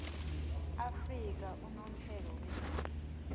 afrika unomphela begodu